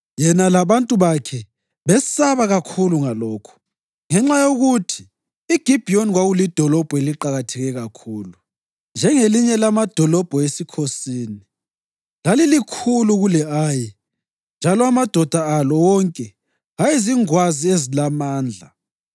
Yena labantu bakhe besaba kakhulu ngalokhu, ngenxa yokuthi iGibhiyoni kwakulidolobho eliqakatheke kakhulu, njengelinye lamadolobho esikhosini; lalilikhulu kule-Ayi, njalo amadoda alo wonke ayezingwazi ezilamandla.